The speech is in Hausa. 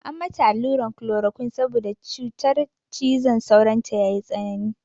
An mata alluran klorokwin saboda cutar cizon sauron ta ya yi tsanani.